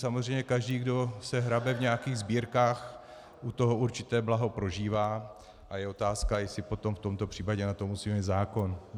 Samozřejmě každý, kdo se hrabe v nějakých sbírkách, u toho určité blaho prožívá a je otázka, jestli potom v tomto případě na to musí být zákon.